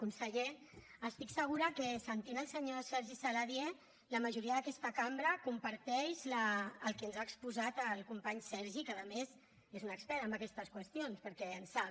conseller estic segura que sentint el senyor sergi saladié la majoria d’aquesta cambra comparteix el que ens ha exposat el company sergi que a més és un expert en aquestes qüestions perquè en sap